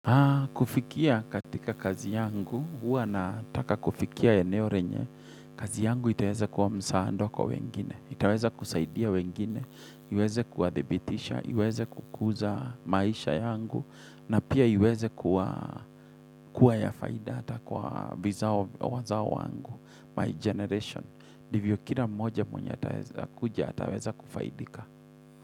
Kufikia katika kazi yangu, hua na taka kufikia ya eneo renye, kazi yangu itaweza kuwa msaada kwa wengine, itaweza kusaidia wengine, iweze kuwa dhibitisha, iweze kukuza maisha yangu, na pia iweze kuwa ya faida ata kwa vizao wazao wangu, my generation, ndivyo kila moja mwenye atakuja ataweza kufaidika.